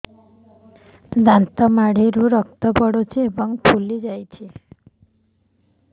ଦାନ୍ତ ମାଢ଼ିରୁ ରକ୍ତ ପଡୁଛୁ ଏବଂ ଫୁଲି ଯାଇଛି